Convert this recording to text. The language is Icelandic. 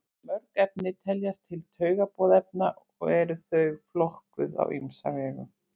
mörg efni teljast til taugaboðefna og eru þau flokkuð á ýmsa vegu